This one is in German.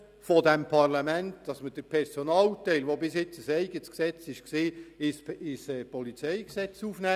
Wir sind vom Parlament gehalten, den Personalteil, welcher bisher in einem eigenen Gesetz stand, ins PolG zu integrieren.